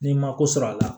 N'i ma ko sɔrɔ a la